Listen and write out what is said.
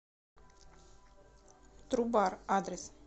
трубар адрес